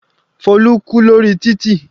Folu kú lórí títì.